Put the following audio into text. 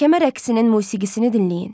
Tərəkəmə rəqsinin musiqisini dinləyin.